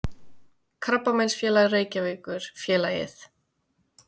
Krabbameinsfélag Reykjavíkur, félagið